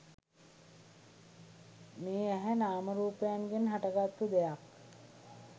මේ ඇහැ නාමරූපයන්ගෙන් හටගත්තු දෙයක්.